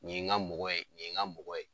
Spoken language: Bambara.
Nin ye n ga mɔgɔ ye, nin ye n ga mɔgɔ ye